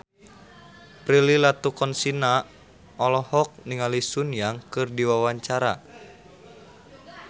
Prilly Latuconsina olohok ningali Sun Yang keur diwawancara